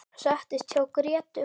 Settist hjá Grétu.